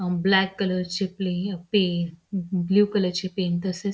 अ black कलरची plain pen blue colour चे pen तसेच--